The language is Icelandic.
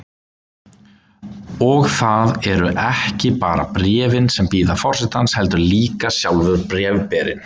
Og það eru ekki bara bréfin sem bíða forsetans, heldur líka sjálfur bréfberinn.